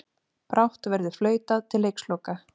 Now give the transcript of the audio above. Brátt verður flautað til leiksloka